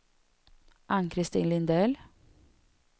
Ann-Christin Lindell